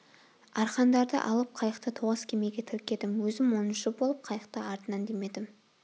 арқандарды алып қайықты тоғыз кемеге тіркедім өзім оныншы болып қайықты артынан демедім